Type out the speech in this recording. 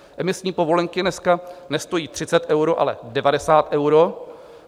Emisní povolenky dneska nestojí 30 euro, ale 90 euro.